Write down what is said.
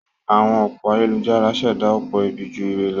Àwọn òpó ayélujára ń ṣẹ̀dá ọ̀pọ̀ ibi ju ire lọ.